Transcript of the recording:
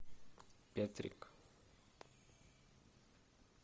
петрик